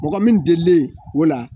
Mɔgɔ min delilen o la